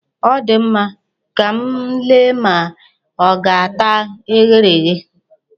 Ọ dị mma, ka m lee ma ọ ga-ata eghere eghe.